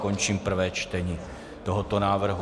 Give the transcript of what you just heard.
Končím prvé čtení tohoto návrhu.